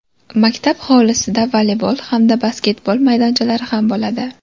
Maktab hovlisida voleybol hamda basketbol maydonchalari ham bo‘ladi.